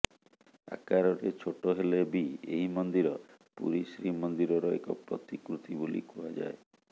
ଆକାରରେ ଛୋଟ ହେଲେ ବି ଏହି ମନ୍ଦିର ପୁରୀ ଶ୍ରୀ ମନ୍ଦିରର ଏକ ପ୍ରତିକୃତି ବୋଲି କୁହାଯାଏ